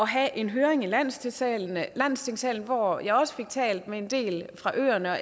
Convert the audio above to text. have en høring i landstingssalen landstingssalen hvor jeg også fik talt med en del fra øerne og